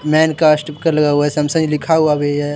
Man का sticker लगा हुआ है सैमसंग लिखा हुआ भी है।